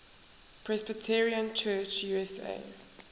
presbyterian church usa